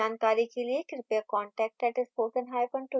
अधिक जानकारी के लिए कृपया contact @spokentutorial org पर लिखें